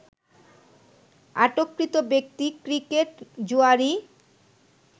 আটককৃত ব্যক্তি ক্রিকেট জুয়াড়ি